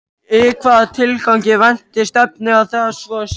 Í hvaða tilgangi vænti stefndi að svo sé?